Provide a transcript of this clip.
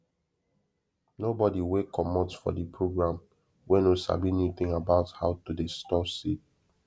nobody wey comot for de program wey no sabi new thing about how to dey store seed